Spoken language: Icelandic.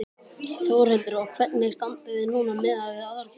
Þórhildur: Og hvernig standið þið núna miðað við aðra kennara?